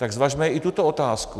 Tak zvažme i tuto otázku.